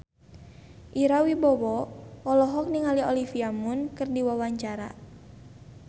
Ira Wibowo olohok ningali Olivia Munn keur diwawancara